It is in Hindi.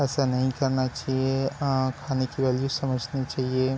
ऐसा नहीं करना चाहिए अ खाने की वैल्यू समझना चाहिए --